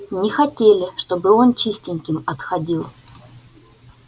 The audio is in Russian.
не хотели чтобы он чистеньким отходил